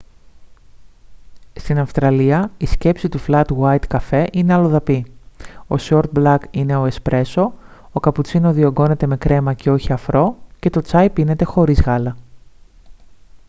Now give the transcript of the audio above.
στην αυστραλία η σκέψη του flat white καφέ είναι αλλοδαπή ο short black είναι ο espresso ο cappuccino διογκώνεται με κρέμα και όχι αφρό και το τσάι πίνεται χωρίς γάλα